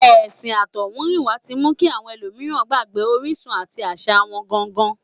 Ẹ̀sìn àtọ̀húnrìnwá tí mú àwọn ẹlòmíràn gbàgbé orísun àti àṣà wọn gangan